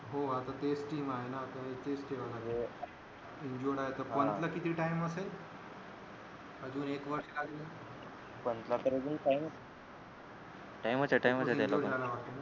हो आता तेच टीम आहे ना त्यामुळे तेच खेळणार हे injured आहे तर पंतला किती time असेल अजून एक वर्ष आहे पंतला तर अजून time time च हे time च हे त्याला